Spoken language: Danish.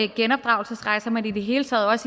genopdragelsesrejserne og i det hele taget